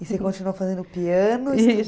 E você continuou fazendo piano... Isso.